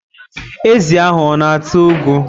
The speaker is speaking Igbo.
Ezi ahụ ọ-na ata ugu.